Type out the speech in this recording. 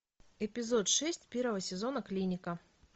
эпизод шесть первого сезона клиника